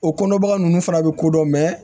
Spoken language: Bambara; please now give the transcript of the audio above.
O kɔnɔ baga ninnu fana bɛ kodɔn